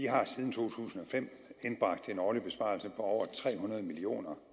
har siden to tusind og fem indbragt en årlig besparelse på over tre hundrede million kr